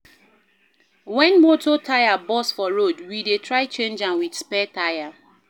Wen motor tyre burst for road, we dey try change am wit spare tyre.